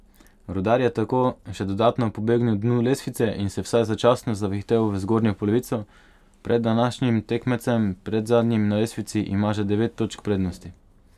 Rudar je tako še dodatno pobegnil dnu lestvice in se vsaj začasno zavihtel v zgornjo polovico, pred današnjim tekmecem, predzadnjim na lestvici, ima že devet točk prednosti.